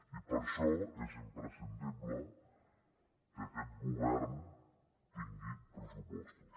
i per això és imprescindible que aquest govern tingui pressupostos